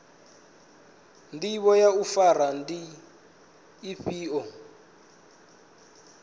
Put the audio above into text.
ndivho ya u fara ndi ifhio